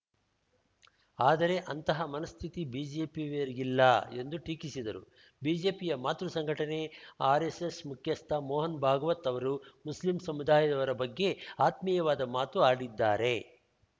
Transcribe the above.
ಆದರೆ ಅಂತಹ ಮನಸ್ಥಿತಿ ಬಿಜೆಪಿಯವರಿಗಿಲ್ಲ ಎಂದು ಟೀಕಿಸಿದರು ಬಿಜೆಪಿಯ ಮಾತೃ ಸಂಘಟನೆ ಆರ್‌ಎಸ್‌ಎಸ್‌ ಮುಖ್ಯಸ್ಥ ಮೋಹನ್‌ ಭಾಗವತ್‌ ಅವರು ಮುಸ್ಲಿಂ ಸಮುದಾಯದವರ ಬಗ್ಗೆ ಆತ್ಮೀಯವಾದ ಮಾತು ಆಡಿದ್ದಾರೆ